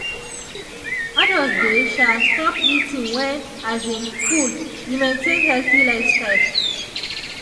adults dey um stop eating when full e maintain healthy lifestyle.